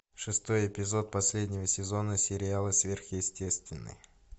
шестой эпизод последнего сезона сериала сверхъестественное